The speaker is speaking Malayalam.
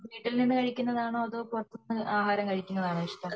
വീട്ടിൽനിന്നു ആഹാരം കഴുകുന്ന ആണോ അതോ പുറത്തുനിന്നു ആഹാരം കഴിക്കുന്ന ആണോ